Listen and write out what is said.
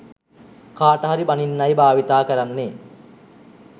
කාටහරි බනින්නයි භාවිතා කරන්නේ.